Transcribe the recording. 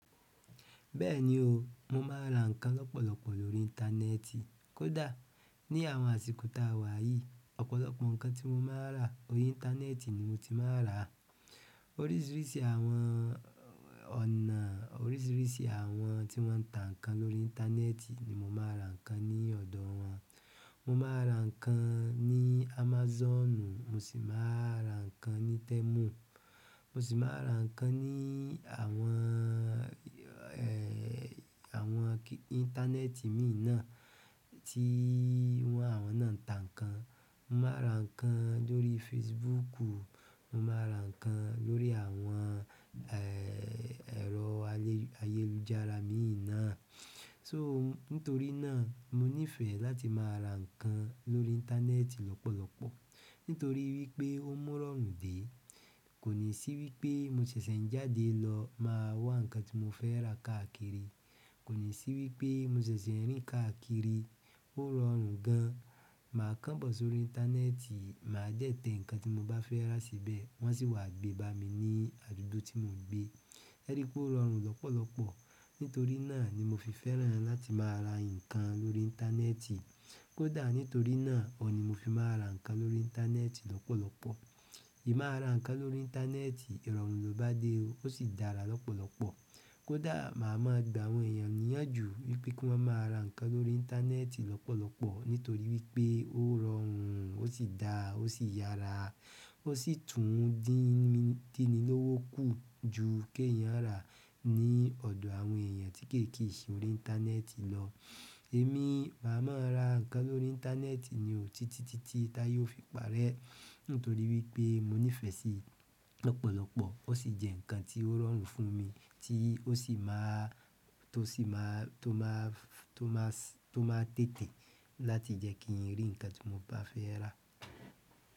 Bẹ́ẹ̀ni o, mo máa ra nǹkan lọ́pọ̀lọpọ̀ lórí íńtánẹ́ẹ́tì. Kò dá, ní àwọn àsìkò ta wà yìí, ọ̀pọ̀lọpọ̀ nǹkan tí mo máa ra, orí íńtánẹ́ẹ́tì ni mo ti máa ràá. Oríṣiríṣi àwọn ọ̀nà, oríṣiríṣi àwọn tí wọ́n ń ta nǹkan lórí íńtánẹ́ẹ́tì ni mo máa ra nǹkan ní ọ̀dọ̀ wọn. Mo máa ra nǹkan ní Amazonu, mo sì máa ra nǹkan ní Temu, mo sì máa ra nǹkan ní àwọn, àwọn íńtánẹ́ẹ́tì míì náà tí wọ́n àwọn náà ń ta nǹkan. Mo máa ra nǹkan lórí Facebook, mo máa ra nǹkan lórí àwọn, è, ẹ̀rọ ayélujára míìná. So nítorí náà mo nífẹ̀ẹ́ láti máa ra nǹkan lórí íńtánẹ́ẹ́tì lọ́pọ̀lọpọ̀. Nítorí wí pé ó mu irọrùn dé. Kò ní sí wí pé mo ṣẹṣẹ́ ń jáde lọ máa wa nǹkan tí mo fẹ́ rà káàkiri. Kò ní sí wí pé mo ṣẹṣẹ́ rín káàkiri, ó rọrùn gan. Màá kán bọ̀ sórí íńtánẹ́ẹ́tì, máa dẹ tẹ ǹkan tí mo bá fẹ́ rà síbẹ̀, wọ́n sì wà gbé bá mi ní àdúgbò tí mo n gbé. Ẹ rí pé ó rọrùn lọ́pọ̀lọpọ̀. Nítorí náà ni mo fi fẹ́ràn láti máa ra nǹkan lórí íńtánẹ́ẹ́tì. Kò dá nítorí náà ọ̀ ni mo fi máa ra nǹkan lórí íńtánẹ́ẹ́tì lọ́pọ̀lọpọ̀. Èmi máa ra nǹkan lórí íńtánẹ́ẹ́tì, ìrọ̀rùn lọ bá dé o, ó sì dára lọ́pọ̀lọpọ̀. Kò dá màá máa gba àwọn èèyàn níyànjú wí pé kí wọ́n máa ra nǹkan lórí íńtánẹ́ẹ́tì lọ́pọ̀lọpọ̀ nítorí wí pé ó rọrùn, ó sì dáa, ó sì yára, ó sì tún dín ní lówó kù jù kí èèyàn rà ní ọ̀dọ̀ àwọn èèyàn tí kéèkii ṣe orí íńtánẹ́ẹ́tì lọ. Èmi, màá máa ra nǹkan lórí íńtánẹ́ẹ́tì ni òtítítítí tá ye o fi pàárẹ́. Nítorí wí pé mo nífẹ̀ẹ́ síi lọ́pọ̀lọpọ̀, ó sì jẹ́ ǹkan tí ó rọrùn fún mi, tí ó sì máa, tó sì máa, tó máa, tó máa tẹ́tẹ̀ láti jẹ́ kí n rí ǹkan tí mo bá fẹ́ rà.